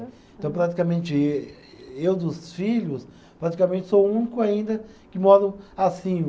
Então, praticamente, eu dos filhos, praticamente sou o único ainda que moro assim.